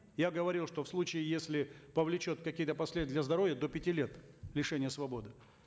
я говорил что в случае если повлечет какие то последствия для здоровья до пяти лет лишения свободы